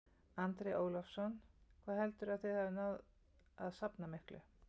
Andri Ólafsson: Hvað heldurðu að þið hafið náð að safna miklu?